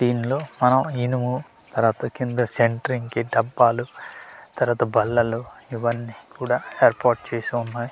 దీనిలో మనం ఇనుము తర్వాత కింద సెంట్రింగ్ కి డబ్బాలు తర్వాత బల్లలు ఇవన్నీ కూడా ఏర్పాటు చేసి ఉన్నాయ్.